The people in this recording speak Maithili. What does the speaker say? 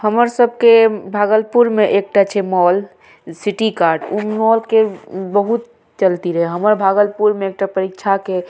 हमर सब के भागलपुर में एकटा छै मॉल सिटीकार्ट ऊ मॉल के बहुत चलती रहे हमर भागलपुर में एकटा परीक्षा के --